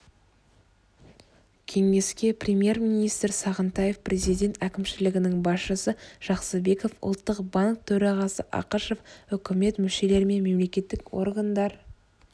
кеңеске премьер-министр сағынтаев президент әкімшілігінің басшысы жақсыбеков ұлттық банк төрағасы ақышев үкімет мүшелері мен мемлекеттік органдар